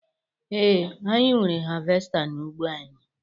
Ee, anyị nwere havesta n'ụgbọ anyị